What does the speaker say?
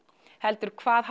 heldur hvað